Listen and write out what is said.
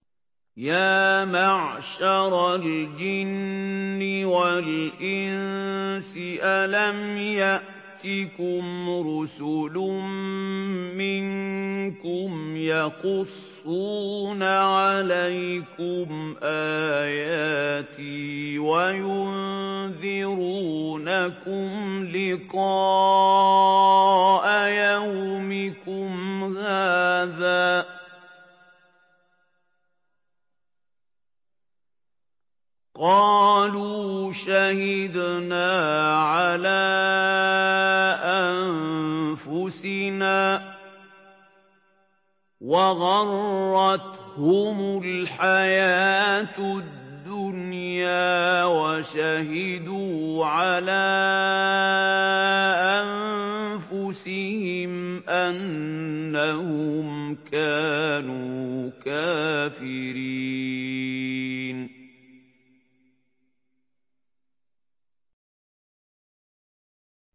يَا مَعْشَرَ الْجِنِّ وَالْإِنسِ أَلَمْ يَأْتِكُمْ رُسُلٌ مِّنكُمْ يَقُصُّونَ عَلَيْكُمْ آيَاتِي وَيُنذِرُونَكُمْ لِقَاءَ يَوْمِكُمْ هَٰذَا ۚ قَالُوا شَهِدْنَا عَلَىٰ أَنفُسِنَا ۖ وَغَرَّتْهُمُ الْحَيَاةُ الدُّنْيَا وَشَهِدُوا عَلَىٰ أَنفُسِهِمْ أَنَّهُمْ كَانُوا كَافِرِينَ